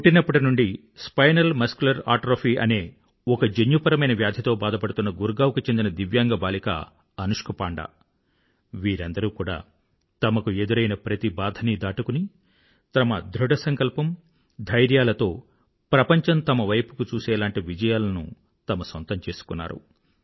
పుట్టినప్పటి నుండీ spinal muscular atrophy అనే ఒక జన్యుపరమైన వ్యాధితో బాధపడుతున్న గుర్గావ్ కు చెందిన దివ్యాంగ బాలిక అనుష్క పాండా వీరందరూ కూడా తమకు ఎదురైన ప్రతి బాధని దాటుకుని తమ ధృఢసంకల్పం ధైర్యాలతో ప్రపంచం తమ వైపుకి చూసేలాంటి విజయాలను తమ సొంతం చేసుకున్నారు